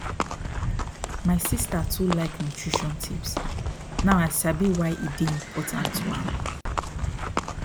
my sister too like nutrition tips now i sabi why e dey important to am